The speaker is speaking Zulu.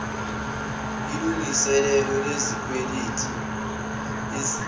ilngiselelo lezikweleti ezimbi